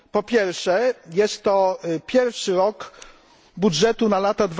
Po pierwsze, jest to pierwszy rok budżetu na lata